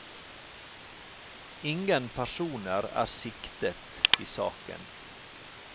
Ingen personer er siktet i saken.